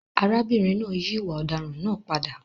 Arábìnrin náà yí ìwà ọ̀daràn náà padà.